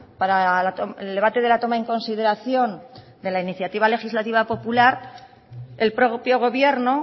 para el debate de la toma en consideración de la iniciativa legislativa popular el propio gobierno